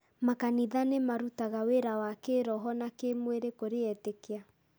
Makanitha nĩ marutaga wĩra wa kĩĩroho na kĩĩmwĩrĩ kũrĩ etĩkia.